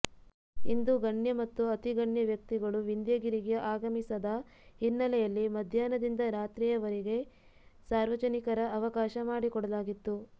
ಇಂದು ಗಣ್ಯ ಮತ್ತು ಅತಿಗಣ್ಯ ವ್ಯಕ್ತಿಗಳು ವಿಂಧ್ಯಗಿರಿಗೆ ಆಗಮಿಸದ ಹಿನ್ನೆಲೆಯಲ್ಲಿ ಮಧ್ಯಾಹ್ನದಿಂದ ರಾತ್ರಿಯವರಿಗೆ ಸಾರ್ವಜನಿಕರ ಅವಕಾಶ ಮಾಡಿಕೊಡಲಾಗಿತ್ತು